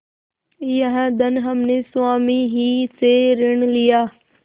यह धन हमने स्वामी ही से ऋण लिया